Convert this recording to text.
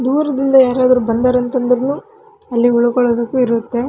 ದೂರದಿಂದ ಯಾರಾದರೂ ಬಂದರಂತಂದ್ರುನು ಅಲ್ಲಿ ಉಳಿದುಕೊಳ್ಳೋಕೆ ಇರುತ್ತೆ.